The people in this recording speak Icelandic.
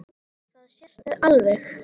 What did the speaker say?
Það sést alveg.